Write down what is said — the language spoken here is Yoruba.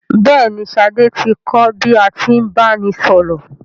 Bẹ́ẹ̀ ni, Ṣadé ti kọ́ bí a tí ń báni sọ̀rọ̀.